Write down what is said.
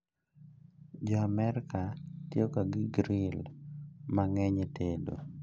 Jo Amerka tiyo ga gi gril mang'eny e tedo